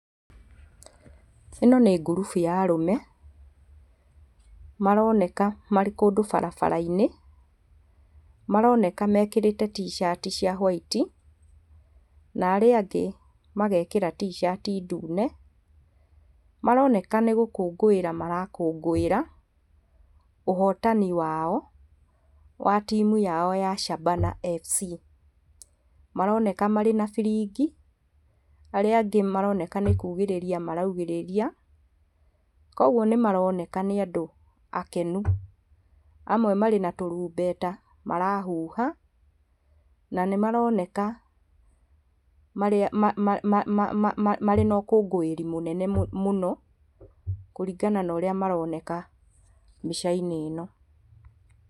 ĩno nĩ ngurubu ya arũme maroneka marĩ kũndũ barabara-inĩ maroneka mekĩrĩte t-shirt cia white na arĩa angĩ magekĩra t-shirt ndune maroneka nĩ gũkũngũĩra marakũngũĩra ũhotani wao wa timũ yao ya Shabana FC . Maroneka marĩ na biringi arĩa angĩ maroneka nĩ kugĩiria maraugĩrĩria koguo nĩ maroneka nĩ andũ akenu. Amwe marĩ na tũrumbeta marahuha na nĩ maroneka marĩ na ũkũngũĩri mũnene mũno kũringana na ũrĩa maroneka mbica-inĩ ĩno.